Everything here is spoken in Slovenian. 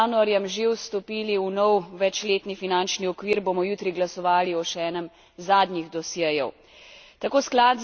Čeprav smo z januarjem že vstopili v nov večletni finančni okvir, bomo jutri glasovali o še enem zadnjih dosjejev.